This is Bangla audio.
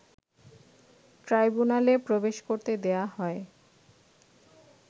ট্রাইব্যুনালে প্রবেশ করতে দেয়া হয়